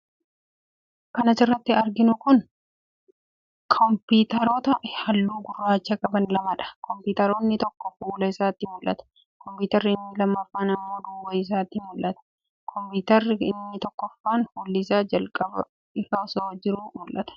Kan asirratti arginu kun, kompiitaroota haalluu gurraacha qaban lama dha. Kompiitarri tokko fuula isaatu mul'ata ,kompiitarri inni lammaffaan ammoo duuba isaatu mul'ata. Kompiitarri inni tokkoffaan fuulli isaa jalqabaa ifaa osoo jiruu mul'ata.